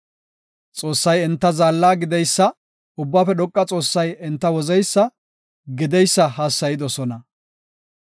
Xoossay enta zaalla gideysa, Ubbaafe Dhoqa Xoossay enta wozeysa, gideysa hassayidosona.